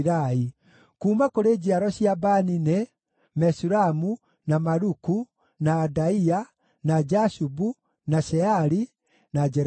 Kuuma kũrĩ njiaro cia Bani nĩ: Meshulamu, na Maluku, na Adaia, na Jashubu, na Sheali, na Jeremothu.